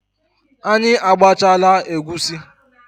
Anyị agbachaala egusi